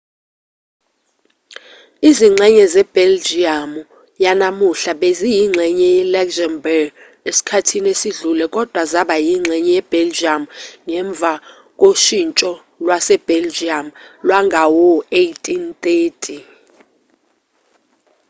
izingxenye zebheljiyamu yanamuhla beziyingxenye ye-luxembourg esikhathini esidlule kodwa zaba yingxenye yebheljiyamu ngemva koshintsho lwasebheljiyamu lwangawo-1830